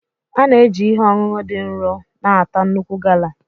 A na-eji ihe ọṅụṅụ dị nro na-ata nnukwu gala.